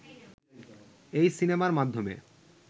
এই সিনেমার মাধ্যমে